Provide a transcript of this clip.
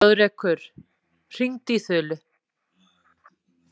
Þjóðrekur, hringdu í Þulu.